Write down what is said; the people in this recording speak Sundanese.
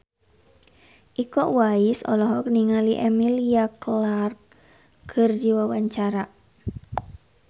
Iko Uwais olohok ningali Emilia Clarke keur diwawancara